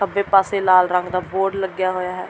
ਖੱਬੇ ਪਾਸੇ ਲਾਲ ਰੰਗ ਦਾ ਬੋਰਡ ਲੱਗਿਆ ਹੋਇਆ ਹੈ।